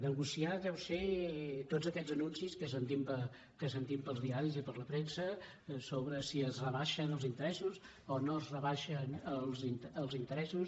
negociar deu ser tots aquests anuncis que sentim pels diaris i per la premsa sobre si es rebaixen els interessos o no es rebaixen els interessos